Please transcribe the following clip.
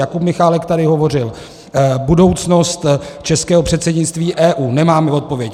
Jakub Michálek tady hovořil - budoucnost českého předsednictví EU - nemáme odpověď.